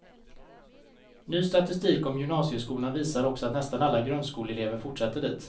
Ny statistik om gymnasieskolan visar också att nästan alla grundskoleelever fortsätter dit.